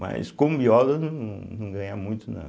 Mas, como biólogo, num não ganha muito, não.